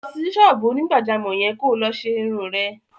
Lọ sí ṣọ́ọ́bù onígbàjámọ̀ yẹn kó lọ ṣe irun rẹ!